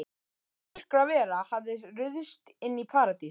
Hvaða myrkravera hafði ruðst inn í Paradís?